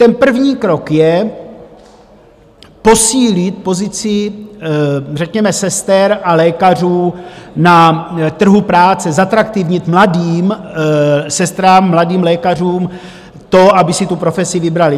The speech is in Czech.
Ten první krok je posílit pozici řekněme sester a lékařů na trhu práce, zatraktivnit mladým sestrám, mladým lékařům to, aby si tu profesi vybrali.